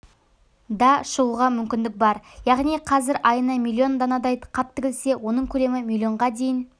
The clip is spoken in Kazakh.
да шығуға мүмкіндік бар яғни қазір айына миллион данадай қап тігілсе оның көлемі миллионға дейін